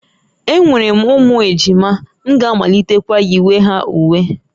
Enwere m ụmụ ejima, m ga-amalitekwa yiwe ha uwe